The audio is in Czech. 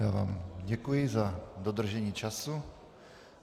Já vám děkuji za dodržení času.